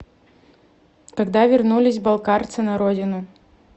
когда вернулись балкарцы на родину